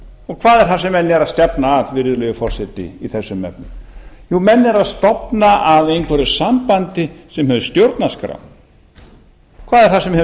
og hvað er það sem menn eru að stefna að virðulegi forseti í þessum efnum jú menn eru að stefna að einhverju sambandi sem hefur stjórnarskrá hvað er það sem hefur